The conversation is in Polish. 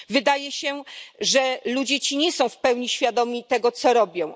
Wydaje się, że ludzie ci nie są w pełni świadomi tego, co robią.